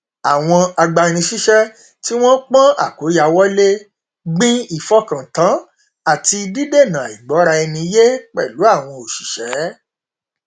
àwọn agbanisíṣẹ tí wọn pọn àkóyawọ lé gbin ìfọkàntán àti dídènà àìgbọra ẹni yé pẹlú àwọn òṣiṣẹ